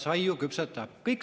Ta saiu küpsetab.